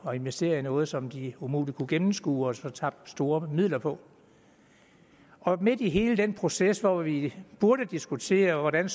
at investere i noget som de umuligt kunne gennemskue og så tabte store midler på midt i hele den proces hvor vi burde diskutere hvordan